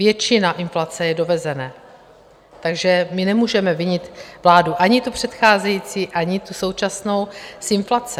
Většina inflace je dovezené, takže my nemůžeme vinit vládu, ani tu předcházející, ani tu současnou, z inflace.